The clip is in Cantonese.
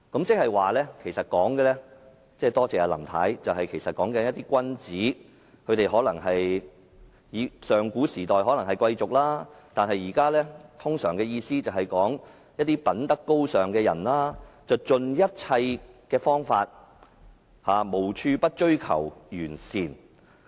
即是說一些君子——多謝林太——在上古時代，所指的可能是貴族，但現代通常是指品德高尚的人用盡一切方法，無處不追求完善。